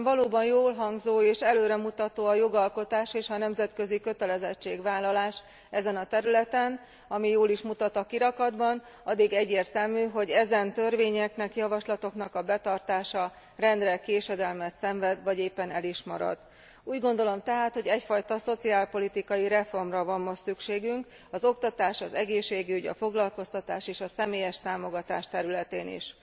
Miközben valóban jól hangzó és előremutató a jogalkotás és a nemzetközi kötelezettségvállalás ezen a területen ami jól is mutat a kirakatban addig egyértelmű, hogy ezen törvényeknek, javaslatoknak a betartása rendre késedelmet szenved vagy éppen el is marad. Úgy gondolom tehát, hogy egyfajta szociálpolitikai reformra van most szükségünk az oktatás, az egészségügy, a foglalkoztatás és a személyes támogatás területén is.